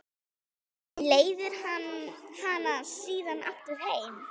Leiðir hana síðan aftur heim.